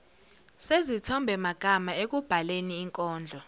zezithombemagama ekubhaleni inkondlo